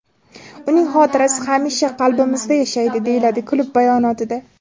Uning xotirasi hamisha qalbimizda yashaydi”, deyiladi klub bayonotida.